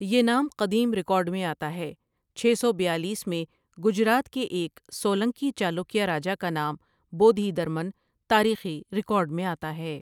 یہ نام قدیم رکارڈ میں آتا ھے چھ سو بیالیس میں گجرات کے ایک سولنکی چالوکیا راجا کا نام بودھی درمن تاریخی رکارڈ میں آتا ھے ۔